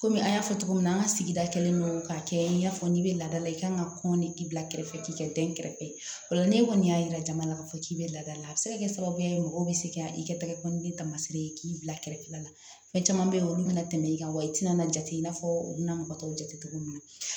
Komi an y'a fɔ cogo min na an ka sigida kɛlen don k'a kɛ i n'a fɔ n'i bɛ laada la i kan ka kɔnni k'i bila kɛrɛfɛ k'i ka dɛn kɛrɛfɛ o la ni kɔni y'a yira jama la k'a fɔ k'i bɛ laada la a bɛ se ka kɛ sababu ye mɔgɔ bɛ se ka i kɛ tɛgɛ kɔnɔna ni taamasiri ye k'i bila kɛrɛfɛla la fɛn caman bɛ yen olu bɛna tɛmɛ i kan wa i tɛna jate i n'a fɔ u bɛna mɔgɔ tɔw jate cogo min na